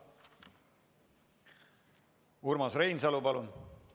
Urmas Reinsalu, palun!